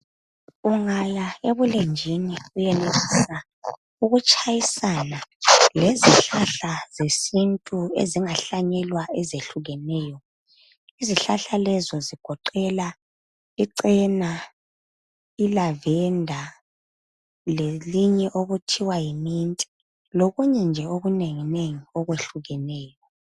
Ungaya ebulenjini uyenelisa ukutshayisana lezihlahla zesintu ezingahlanyelwa ezehlukeneyo. Izihlahla lezo zigoqelwa icena, ilavenda lelinye okuthiwa yi minti lokunye nje okunenginengi okwehlukeneyo.